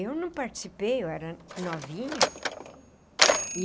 Eu não participei, eu era novinha, e...